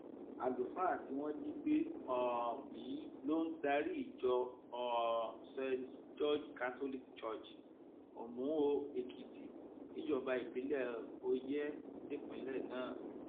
àlùfáà tí wọn jí gbé um yìí ló ń darí ìjọ um st george catholic church omuoekitì níjọba ìbílẹ oyè nípínlẹ náà